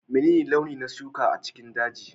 Menene launi na shuka a cikin dajin?